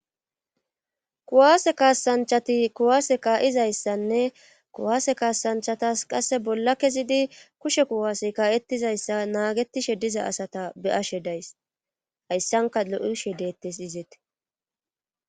kuwaase kaasanchati kuwaase kaa7izayssanne kuwaase kaasanchatas qasse bolla kezidi kushe kuwaase kaa7etizayssa naagetishe diza asata be ashe days hayssanka lo7ihe deettes izeet